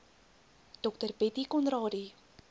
dr bettie conradie